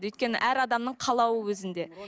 өйткені әр адамның қалауы өзінде